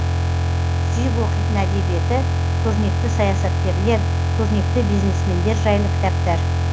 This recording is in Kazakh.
сүйіп оқитын әдебиеті көрнекті саясаткерлер көрнекті бизнесмендер жайлы кітаптар